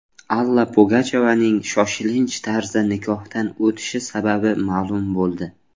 Alla Pugachyovaning shoshilinch tarzda nikohdan o‘tishi sababi ma’lum bo‘ldi.